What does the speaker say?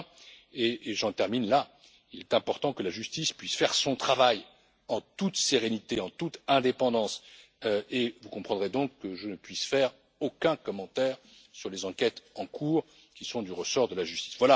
Enfin et j'en termine là il est important que la justice puisse faire son travail en toute sérénité et en toute indépendance, et vous comprendrez donc que je ne puisse faire aucun commentaire sur les enquêtes en cours, qui sont du ressort de la justice.